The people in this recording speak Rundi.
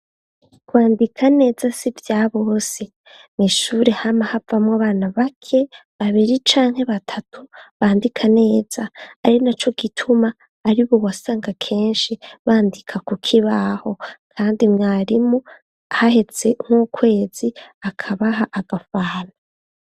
Kwandika neza si ivya bose. Mw'ishure hama havamwo abana bake, babiri canke batatu bandika neza. Ari naco gituma aribo wasanga kenshi bandika ku kibaho kandi mwarimu haheze nk'ukwezi akabaha agafanta.